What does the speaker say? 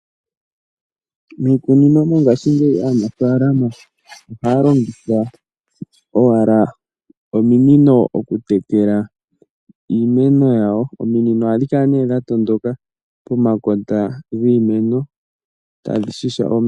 Miikunino mongashingeyi aanafalama ohaya longitha owala ominino mokutekela iimeno yawo. Ominino dhino ohadhi kala nee dha tondoka pomakota giimeno tadhi shasha omeya.